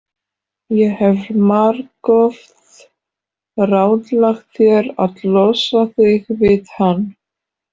Ég hef margoft ráðlagt þér að losa þig við hann.